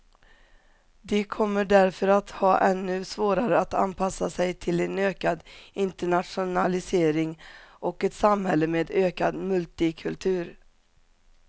De kommer därför att ha ännu svårare att anpassa sig till en ökad internationalisering och ett samhälle med ökad multikultur.